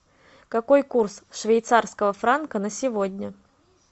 какой курс швейцарского франка на сегодня